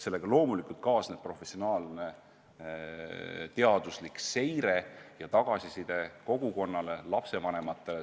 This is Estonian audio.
Sellega loomulikult peaks kaasnema professionaalne teaduslik seire ja tagasiside kogukonnale, lapsevanematele.